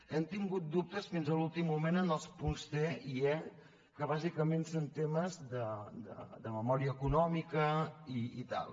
hem tingut dubtes fins a l’últim moment en els punts cque bàsicament són temes de memòria econòmica i tal